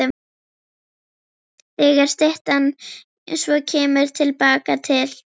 Þegar styttan svo kemur til baka til